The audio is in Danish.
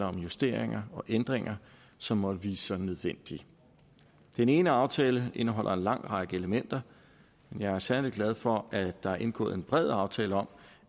om justeringer og ændringer som måtte vise sig nødvendige den ene aftale indeholder en lang række elementer men jeg er særlig glad for at der er indgået en bred aftale om